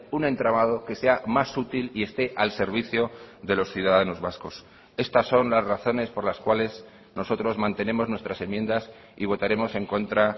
un entramado que sea más útil y esté al servicio de los ciudadanos vascos estas son las razones por las cuales nosotros mantenemos nuestras enmiendas y votaremos en contra